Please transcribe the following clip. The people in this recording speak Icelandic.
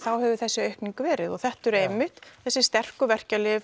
hefur þessi aukning verið þetta eru einmitt þessi sterku verkjalyf